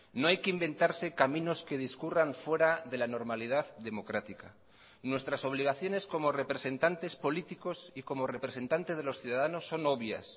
no hay que inventarse caminos que discurran fuera de la normalidad democrática nuestras obligaciones como representantes políticos y como representantes de los ciudadanos son obvias